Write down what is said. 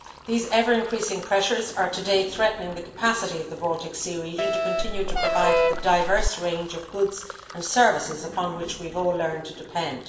These ever increasing pressures are today threatening the capacity of the Baltic Sea region to continue to provide the diverse range of goods and services upon which we have all learned to depend.